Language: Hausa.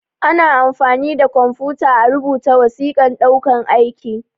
Ana amfani da kwamfuta a rubuta wasiƙan ɗaukan aiki